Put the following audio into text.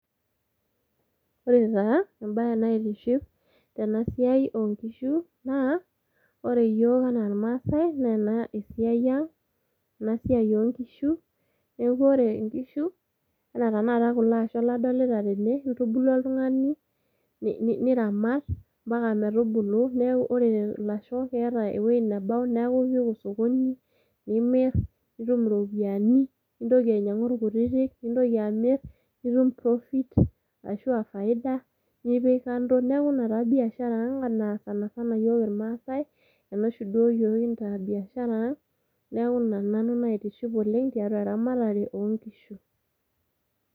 Ore taa embae naitiship tena siai oonkishu naa ore iyiook anaa irmaase naa ena siai enaang ena siai oonkishu . Niaku ore inkishu anaa tenakata kulo asho nadolita tene , kitubulu oltungani niramat ompaka metubulu .Niaku ore ilasho keeta ewuei nebau niaku ipik osokoni nimir, nitum iropiyiani ,Nintoki nainyiangu irkutiti , nintoki amir ,nitum profit ashuaa faida nipik kando. Niaku ina taa biashara ang naa yiook sanasana irmaasae ,ena duooshi yiook kintaa biashara ang . Niaku ina nanu naitiship oleng tiatua eramatare oonkishu.